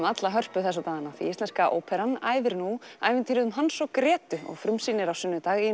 alla Hörpu þessa dagana því Íslenska óperan æfir nú ævintýrið um Hans og Grétu og frumsýnir á sunnudag í